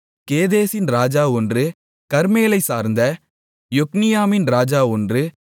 கேதேசின் ராஜா ஒன்று கர்மேலைச் சார்ந்த யொக்னியாமின் ராஜா ஒன்று